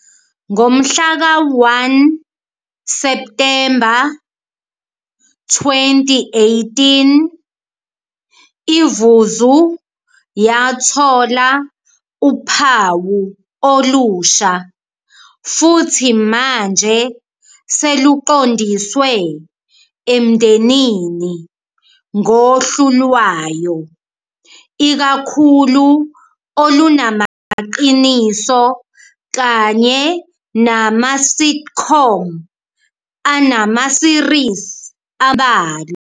Ngomhlaka 1 Septhemba 2018, iVuzu yathola uphawu olusha futhi manje seluqondiswe emndenini ngohlu lwayo ikakhulu olunamaqiniso kanye nama-sitcom anama-series ambalwa.